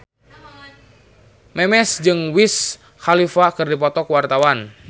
Memes jeung Wiz Khalifa keur dipoto ku wartawan